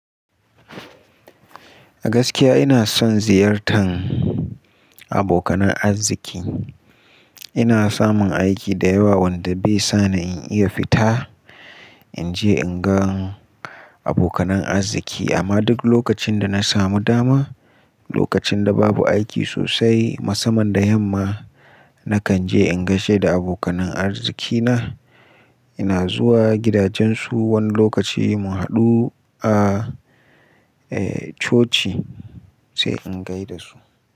Gaskiya ina son ziyartan abokanan arziki. Ina samun aiki da yawa wanda bai sa ni in iya fita in je in gan abokanan arziki. Amma duk lokacin da na samu dama, lokacin da babu aiki sosai, musamman da yamma, nakan je in gaishe da abokanan arzikina. Ina zuwa gidajensu wani lokaci mu haɗu a coci sai in gai da su.